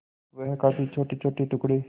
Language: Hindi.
वह काफी छोटेछोटे टुकड़े